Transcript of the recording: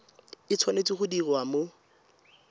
e tshwanetse go diriwa mo